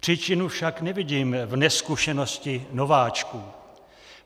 Příčinu však nevidím v nezkušenosti nováčků.